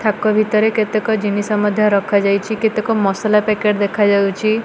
ଥାକ ଭିତରେ କେତେକ ଜିନିଷ ମଧ୍ୟ ରଖା ଯାଇଛି କେତେକ ମସଲା ପେକେଟ ଦେଖା ଯାଉଛି।